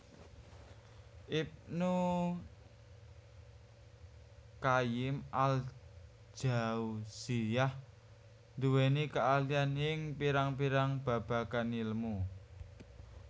Ibnu Qayyim al Jauziyyah nduweni keahlian ing pirang pirang babagan ilmu